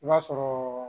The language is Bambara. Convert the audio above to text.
I b'a sɔrɔ